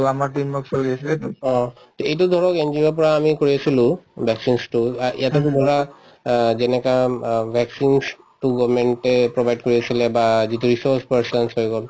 অ to এইটো ধৰক NGO ৰ পৰা আমি কৰি আছিলো vaccination তো আ ইয়াতেতো ধৰা অ যেনেকা অম অ vaccination তো government য়ে provide কৰি আছিলে বা যিটো হৈ গল